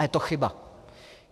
A je to chyba.